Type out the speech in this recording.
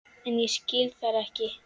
En ég skil þær ekki.